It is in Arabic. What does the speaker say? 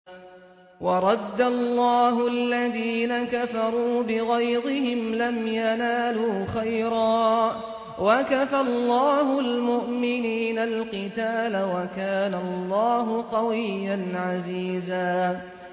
وَرَدَّ اللَّهُ الَّذِينَ كَفَرُوا بِغَيْظِهِمْ لَمْ يَنَالُوا خَيْرًا ۚ وَكَفَى اللَّهُ الْمُؤْمِنِينَ الْقِتَالَ ۚ وَكَانَ اللَّهُ قَوِيًّا عَزِيزًا